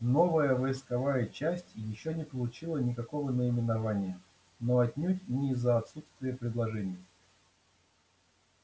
новая войсковая часть ещё не получила никакого наименования но отнюдь не из-за отсутствия предложений